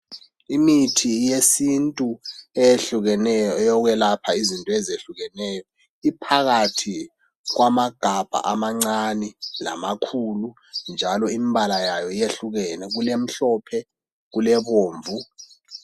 Imithi yesintu eyehlukeneyo eyokwelapha izinto ezehlukeneyo iphakathi kwamagabha amancane lamakhulu njalo imbala yayo yehlukene kulemhlophe, kulebomvu